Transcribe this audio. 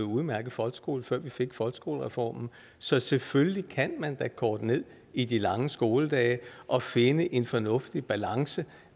udmærket folkeskole før vi fik folkeskolereformen så selvfølgelig kan man da korte ned i de lange skoledage og finde en fornuftig balance